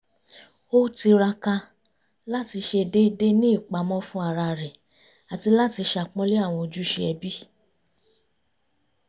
ó tiraka láti ṣe déédéé ní ìpamọ́ fún ara rẹ̀ àti láti ṣàpọ́nlé àwọn ojúṣe ẹbí